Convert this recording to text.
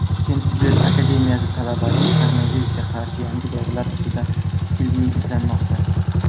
Toshkent tibbiyot akademiyasi talabasi koronavirusga qarshi yangi dorilar ustida ilmiy izlanmoqda.